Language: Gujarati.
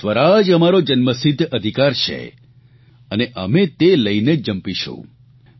કે સ્વરાજ અમારો જન્મસિદ્ધ અધિકાર છે અને અમે તે લઇને જ જંપીશું